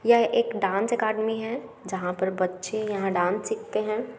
यह एक dance academy है जहां पर बच्चे यहाँ डांस सीखते है।